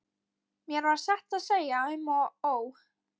Mér varð satt að segja um og ó.